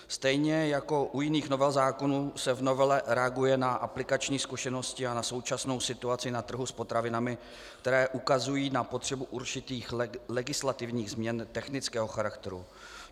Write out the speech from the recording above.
Stejně jako u jiných novel zákonů se v novele reaguje na aplikační zkušenosti a na současnou situaci na trhu s potravinami, které ukazují na potřebu určitých legislativních změn technického charakteru.